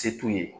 Se t'u ye